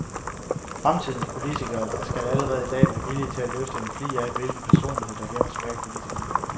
Fremtidens politiker skal allerede i dag være villig til at løfte en flig af, hvilken personlighed der gemmer sig bag politikeren.